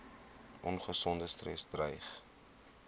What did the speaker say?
ongesonde stres dreig